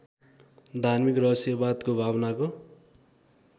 धार्मिक रहस्यवादको भावनाको